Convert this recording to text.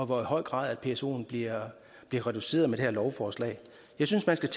hvor høj grad psoen bliver reduceret med det her lovforslag jeg synes